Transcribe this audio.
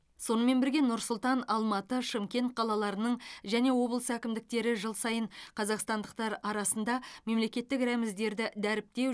сонымен бірге нұр сұлтан алматы шымкент қалаларының және облыс әкімдіктері жыл сайын қазақстандықтар арасында мемлекеттік рәміздерді дәріптеу